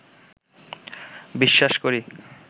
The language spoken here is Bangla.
বিশ্বাস করি